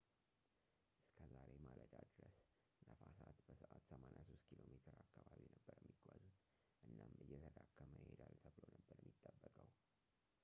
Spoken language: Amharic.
እስከ ዛሬ ማለዳ ድረስ፣ ነፋሳት በሰዓት 83 ኪ.ሜ አካባቢ ነበር የሚጓዙት፣ እናም እየተዳከመ ይሄዳል ተብሎ ነበር የሚጠበቀው